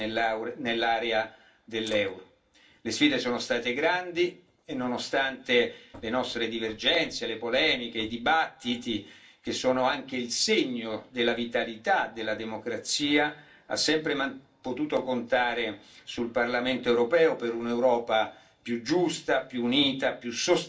Le sfide sono state grandi e, nonostante le nostre divergenze di opinione, le polemiche, i dibattiti, che sono anche il segno della vitalità della democrazia, ha sempre potuto contare sul Parlamento europeo per un'Europa più giusta, più unita, più sostenibile e più vicina ai cittadini.